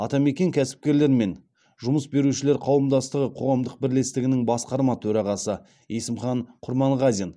атамекен кәсіпкерлер мен жұмыс берушілер қауымдастығы қоғамдық бірлестігінің басқарма төрағасы есімхан құрманғазин